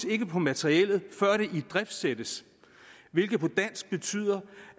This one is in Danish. ikke på materiellet før det idriftsættes hvilket på dansk betyder